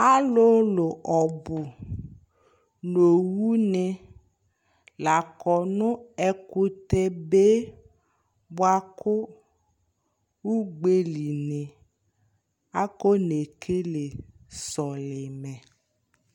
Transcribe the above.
Alʋlʋ ɔbʋ nʋ owʋni lakɔ nʋ ɛkʋtɛ be bʋakʋ ʋgbeli ni akɔne kele sɔlimɛ